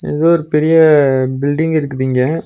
ஏதோ ஒரு பெரிய பில்டிங் இருக்குதிங்க.